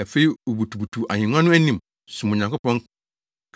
Afei wobutubutuw ahengua no anim, som Onyankopɔn